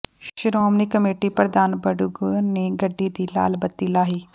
Shiromani committee ਪ੍ਰਧਾਨ ਬਡੂੰਗਰ ਨੇ ਗੱਡੀ ਦੀ ਲਾਲ ਬੱਤੀ ਲਾਹੀ